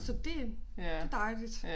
Så det det dejligt